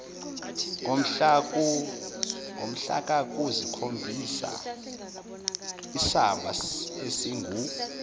komhlaka kukhombisaisamba esingu